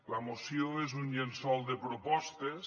la moció és un llençol de propostes